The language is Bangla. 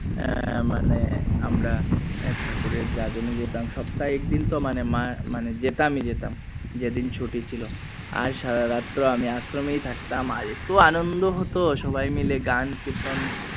মানে আমরা ঠাকুরের জাজনে যেতাম সপ্তাহে এদিন তো মানে যেতাম ই যেতাম যেদিন ছুটি ছিল আর সারা রাত তো আমি আশ্রমেই থাকতাম আর এতো আনন্দ হতো সবিনয় মিলে গান কীর্তন